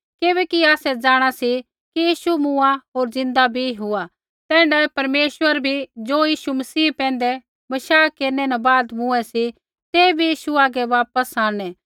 किबैकि आसै जाँणा सी कि यीशु मूँआ होर ज़िन्दा बी हुआ ता तैण्ढाऐ परमेश्वरा बी ज़ो यीशु मसीह पैंधै बशाह केरनै न बाद मूँऐं सी तै बी यीशु हागै वापस आंणनै